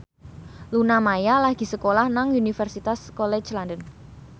Luna Maya lagi sekolah nang Universitas College London